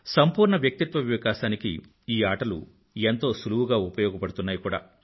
సంపూర్ణ వ్యక్తిత్వ వికాసానికి ఆ ఆటలు ఎంతో సులువుగా ఉపయోగపడుతున్నాయి కూడా